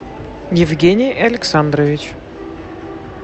евгений александрович